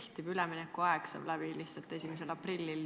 Lihtsalt üleminekuaeg saab läbi 1. aprillil.